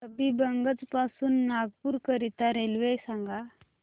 हबीबगंज पासून नागपूर करीता रेल्वे सांगा